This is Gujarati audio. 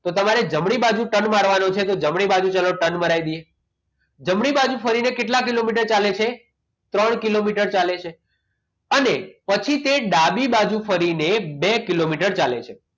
તો તમારે જમણી બાજુ turn મારવાનો છે તો તા જમણી બાજુ turn મરાય દઇએ. જમણી બાજુ ફરીને કેટલા કિલોમીટર ચાલે છે ત્રણ કિલોમીટર ચાલે છે અને પછી તે ડાબી બાજુ ફરીને બે કિલોમીટર ચાલે છે